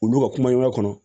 Olu ka kumaɲɔgɔnya kɔnɔ